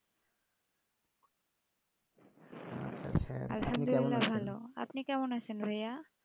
ভালো আপনি কেমন আছেন ভহইয়া